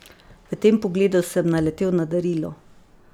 V tem pogledu sem naletel na darilo.